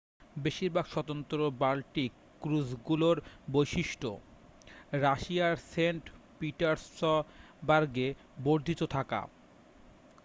বেশিরভাগ স্বতন্ত্র বাল্টিক ক্রুজগুলোর বৈশিষ্ট্য রাশিয়ার সেন্ট-পিটার্সবার্গে বর্ধিত থাকা